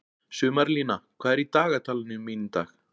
Sumarlína, hvað er í dagatalinu mínu í dag?